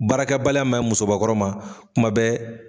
Baarakɛbaliya maɲin musobakɔrɔ ma kuma bɛ.